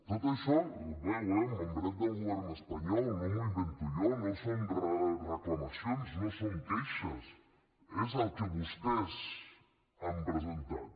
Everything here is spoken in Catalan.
tot això ho veu eh amb membret del govern espanyol no m’ho invento jo no són reclamacions no són queixes és el que vostès han presentat